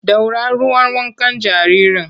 Ɗora ruwan wankan jaririn!